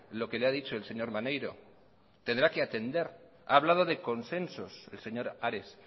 lo que le ha dicho el señor maneiro tendrá que atender ha hablado de consensos el señor ares